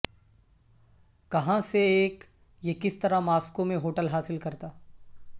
کہاں سے ایک یہ کس طرح ماسکو میں ہوٹل حاصل کرتا